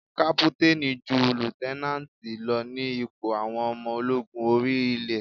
Kápútánì ju líútẹ́nánátì lọ ní ipò àwọn ọmọ ológun orí ilé.